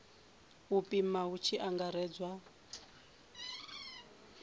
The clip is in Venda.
u pima hu tshi angaredzwa